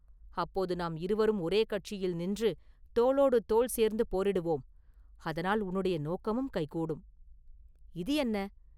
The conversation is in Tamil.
"அப்போது நாம் இருவரும் ஒரே கட்சியில் நின்று தோளோடு தோள் சேர்ந்து போரிடுவோம்; அதனால் உன்னுடைய நோக்கமும் கைகூடும்…” “இது என்ன?"